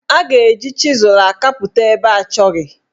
A ga-eji chịzụ akapụta ebe achọghị.